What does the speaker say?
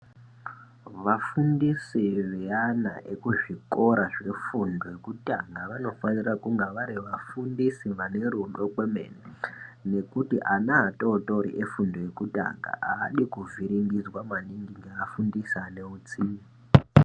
Vafundisi veana ekuzvikora zvefundo yekutanga vanofanira kunga vari vafundisi vanerudo kwemene nekuti ana atotori efundo yekutanga adi kuvhiringidzwa maningi ngaafundisi ane utsinye.